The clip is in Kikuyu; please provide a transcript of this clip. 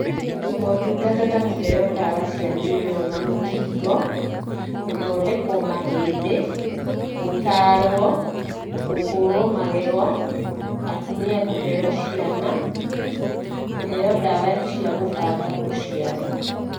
Motungata ta kῦheo ndawa cia mῖnyoo na mῦkingo, gῦthondekwo mahῖndῖ, gῦtaarwo, gῦkῦrwo magego, atumia kῦheo ciana, kῦheo ndawa cia gῦbanga ῦciari.